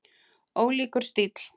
Ólíkur stíll.